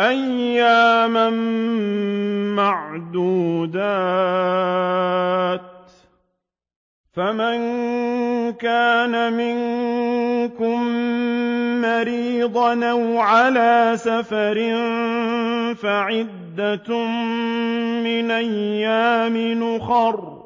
أَيَّامًا مَّعْدُودَاتٍ ۚ فَمَن كَانَ مِنكُم مَّرِيضًا أَوْ عَلَىٰ سَفَرٍ فَعِدَّةٌ مِّنْ أَيَّامٍ أُخَرَ ۚ